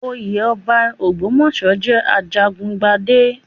Oyé ọba Ògbómọ̀ṣọ́ jẹ́ ajagun gbadé.